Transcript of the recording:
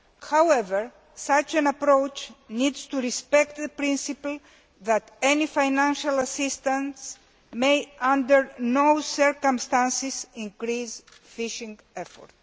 However, such an approach needs to respect the principle that financial assistance may not, under any circumstances, increase fishing effort.